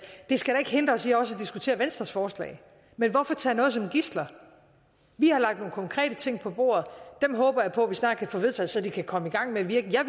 det skal da ikke hindre os i også at diskutere venstres forslag men hvorfor tage noget som gidsel vi har lagt nogle konkrete ting på bordet dem håber jeg på vi snart kan få vedtaget så de kan komme i gang med at virke jeg